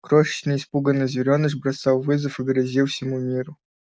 крошечный испуганный зверёныш бросал вызов и грозил всему миру